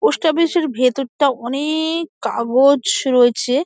post office - এর ভেতর টা অ-নে-ক কাগজ রয়েছে |